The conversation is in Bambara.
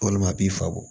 Walima a b'i fako